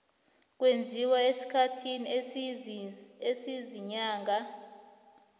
kwenziwa esikhathini esiziinyanga